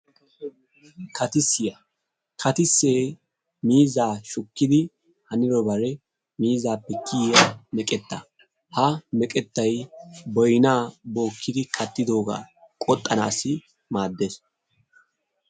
Kattissiyaa, kattisse miizzaa shukkiyo wode miizzappe kiyiya meqqeta. ha meqqettay boynna bookkidi kattidooga qoxxanassi maaddees.